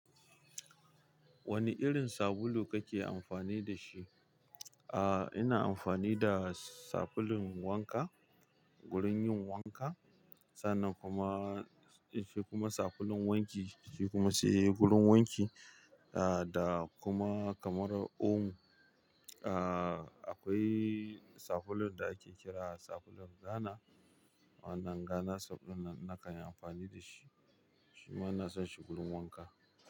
Wani irin sabulu kake amfani da shi? Aaa, ina amfani da sabulun wanka, gurin yin wanka. Sannan kuma, shi kuma sabulun wanki, shi kuma shi gurin wanki, ah, da kuma kamar omo, ah, akwai sabulun da ake kira sabulun Ghana. Wannan Ghana sabulun na, na kayi amfani da shi. Shima na san shi gurin wanka.